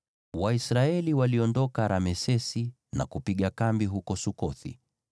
Waisraeli waliondoka Ramesesi na kupiga kambi huko Sukothi.